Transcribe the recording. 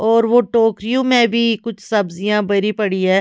और वो टोकरियों में भी कुछ सब्जियां भरी पड़ी है।